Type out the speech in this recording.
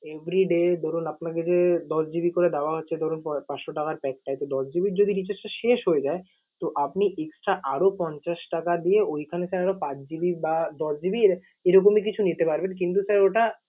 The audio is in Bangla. everyday ধরুন আপনাকে যে দশ GB করে দেওয়া হচ্ছে ধরুন পাঁচশো টাকার pack টায়। তো দশ GB র recharge টা যদি শেষ হয়ে যায়, তো আপনি extra আরও পঞ্চাশ টাকা দিয়ে ঐ থাকা পাঁচ GB বা দশ GB র এরকমই কিছু নিতে পারবেন কিন্তু sir ওটা